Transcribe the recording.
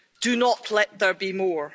do not let there be more.